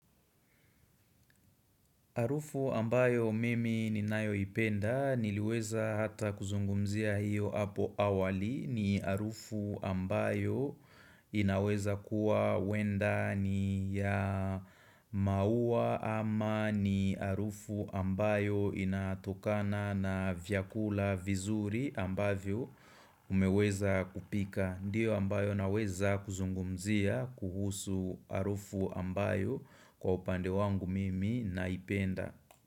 Arufu ambayo mimi ninayoipenda niliweza hata kuzungumzia hiyo hapo awali ni arufu ambayo inaweza kuwa huenda ni ya maua ama ni arufu ambayo inatokana na vyakula vizuri ambavyo umeweza kupika. Ndiyo ambayo naweza kuzungumzia kuhusu arufu ambayo kwa upande wangu mimi naipenda.